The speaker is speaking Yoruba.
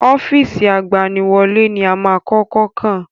Ọ́fíìsì agbaniwọlẹ́ ni a máa kọ́kọ́ kàn